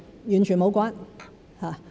完全無關。